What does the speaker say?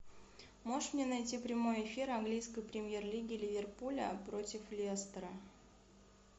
можешь мне найти прямой эфир английской премьер лиги ливерпуля против лестера